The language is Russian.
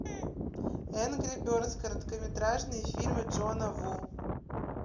энгри бердс короткометражные фильмы джона ву